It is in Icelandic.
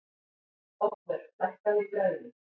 Oddvör, lækkaðu í græjunum.